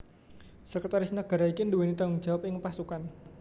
Sekretaris Negara iki nduweni tanggung jawab ing pasukan